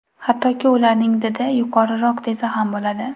Hattoki ularning didi yuqoriroq desa ham bo‘ladi.